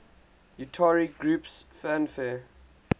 utari groups fanfare